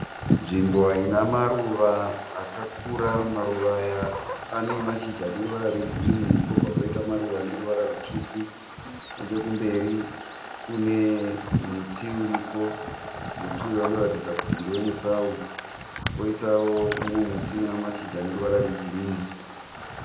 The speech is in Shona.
Nzvimbo inamaruva akakura maruva aya anemashizha aneruvara rwegirini, kwobva kwaita maruva ane ruvara rwutsvuku. Nechekumberi kune muti uriko. Muti uyu unoratidza kuti ndewe musawu koitawo mumwe muti unamashizha aneruvara rwegirini.